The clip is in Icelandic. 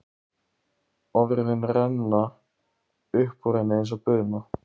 Orðin renna upp úr henni eins og buna.